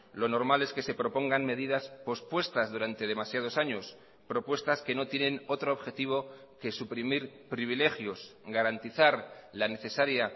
lo normal es que se propongan medidas pospuestas durante demasiados años propuestas que no tienen otro objetivo que suprimir privilegios garantizar la necesaria